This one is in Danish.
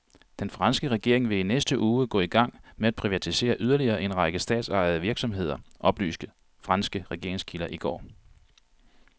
Den franske regering vil i næste uge gå i gang med at privatisere yderligere en række statsejede virksomheder, oplyste franske regeringskilder i går.